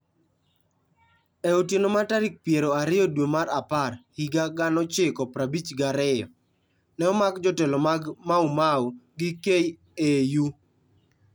E otieno mar tarik piero ariyo due mar apar higa 1952, ne omak jotelo mag Mau Mau gi KAU.